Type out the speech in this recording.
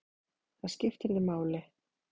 Það skipti þig máli.